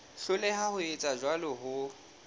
hloleha ho etsa jwalo ho